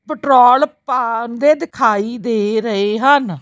Petrol ਪਾਉਂਦੇ ਦਿਖਾਈ ਦੇ ਰਹੇ ਹਨ।